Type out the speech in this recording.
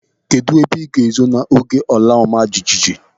Kedụ ebe ịga ezo n'oge ala ọma jijiji?